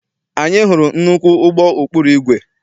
Anyị hụrụ nnukwu ụgbọ ụkpụrụ igwe.